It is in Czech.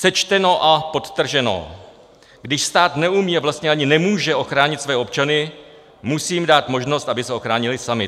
Sečteno a podtrženo: když stát neumí a vlastně ani nemůže ochránit své občany, musí jim dát možnost, aby se ochránili sami.